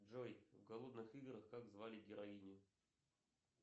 джой в голодных играх как звали героиню